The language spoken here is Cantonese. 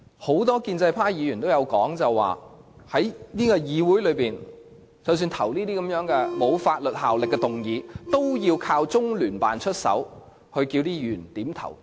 很多建制派議員也說過，即使是議會內所提出沒有法律約束力的議案，都要中聯辦出手要求議員點頭。